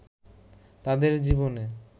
তাদের জীবনে